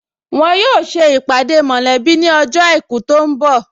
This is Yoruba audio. Wọn yóò ṣe ìpàdé mọ̀lẹ́bí ní ọjọ́ àìkú tó ń bọ̀